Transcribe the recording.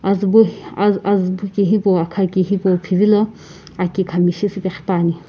aziibo azii aziibo kihipuo aakha ki hipuo pheviilo aki kamshi siipe qhapani.